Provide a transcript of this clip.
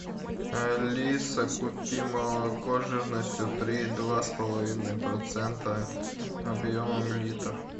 алиса купи молоко жирностью три и два с половиной процента объемом литр